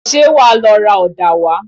Ṣé wàá lọ ra ọ̀dà wá?